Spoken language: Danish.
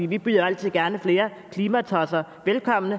vi byder jo altid gerne flere klimatosser velkommen